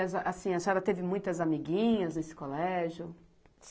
assim, a senhora teve muitas amiguinhas nesse colégio?